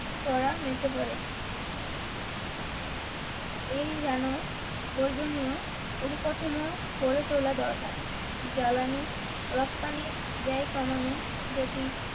করা নিতে পারে এই যেন প্রয়োজনীয় পরিকাঠামো গড়ে তোলা দরকার জ্বালানি রপ্তানির ব্যয় কমানো যদি,